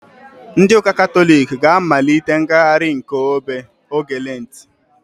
Ndị ụka katọlik ga-amalite ngagharị nke obe oge lentị